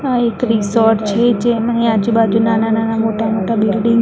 આ એક રિસોર્ટ છે જેમની આજુ-બાજુ નાના-નાના મોટા-મોટા બિલ્ડીંગ --